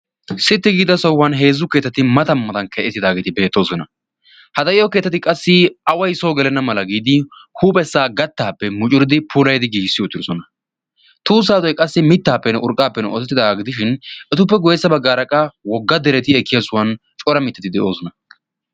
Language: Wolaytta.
Sitti giida sohuwan heezzu keetati mata matan ke'etidaageeti beettoosona ha da'iyo keetati qassi away soo gelenna mala giidi huuphessaa gattaappe mucuridi puulaydi giissi uuttirosona tuusaadoy qassi mittaappenn urqqaappenne ootettidaagaa gidishin etuppe goissa baggaaraqaa wogga dereti ekkiya suwan cora mittati de'oosona.